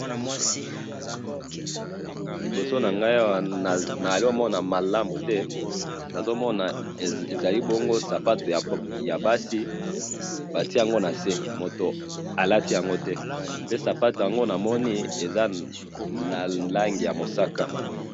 Liboso na nga awa nazo mona malamu te, nazo mona ezali bongo sapatu ya basi batie yango na see, moto alati yango te, pe sapatu yango namoni eza na langi ya mosaka.